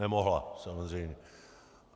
Nemohla, samozřejmě.